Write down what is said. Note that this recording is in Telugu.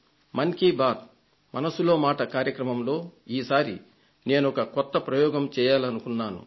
మన్ కీ బాత్ మనసులో మాట కార్యక్రమంలో ఈసారి నేనొక కొత్త ప్రయోగం చేయాలనుకున్నాను